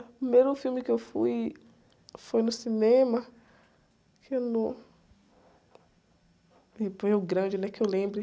O primeiro filme que eu fui foi no cinema, que no... E foi um grande, né? Que eu lembre.